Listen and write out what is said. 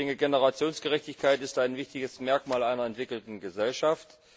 Ich denke, Generationengerechtigkeit ist ein wichtiges Merkmal einer entwickelten Gesellschaft.